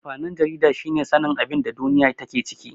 Amfanin jarida shine sanin abinda duniya take ciki.